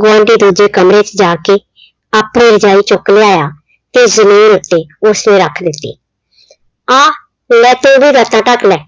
ਗੁਆਂਢੀ ਦੂਜੇ ਕਮਰੇ ਚ ਜਾ ਕੇ ਆਪਣੀ ਰਜਾਈ ਚੁੱਕ ਲਿਆਇਆ ਤੇ ਜ਼ਮੀਨ ਉੱਤੇ ਉਸਨੇ ਰੱਖ ਦਿੱਤੀ, ਆ ਲੈ ਤੂੰ ਵੀ ਲੱਤਾਂ ਢੱਕ ਲੈ